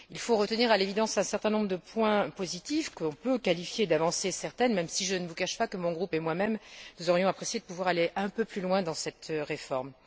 Il faut retenir à l'évidence un certain nombre de points positifs que l'on peut qualifier d'avancées certaines, même si je ne vous cache pas que mon groupe et moi même aurions apprécié de pouvoir aller un peu plus loin dans cette réforme.